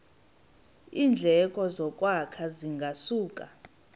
iindleko zokwakha zingasuka